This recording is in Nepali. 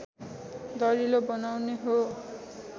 दरिलो बनाउने हो